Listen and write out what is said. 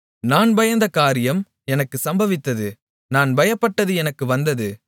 நான் பயந்த காரியம் எனக்குச் சம்பவித்தது நான் பயப்பட்டது எனக்கு வந்தது